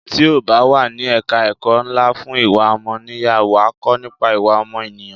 Tí o bá wà ní ẹ̀ka ẹ̀kọ́ ńlá fún ìwà ọmọnìyàn, wà á kọ́ nípa ìwà ọmọ ènìyàn.